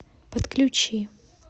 подключи